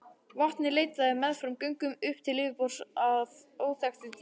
Vatnið leitaði meðfram göngunum upp til yfirborðs af óþekktu dýpi.